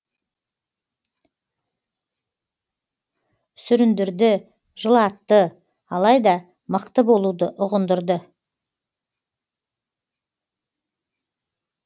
сүріндірді жылатты алайда мықты болуды ұғындырды